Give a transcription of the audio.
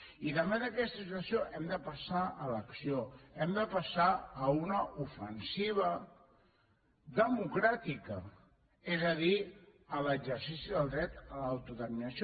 i davant d’aquesta situació hem de passar a l’acció hem de passar a una ofensiva democràtica és a dir a l’exercici del dret a l’autodeterminació